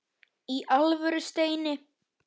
Í alvöru, Steini.